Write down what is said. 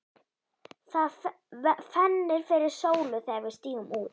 Það fennir fyrir sólu þegar við stígum út.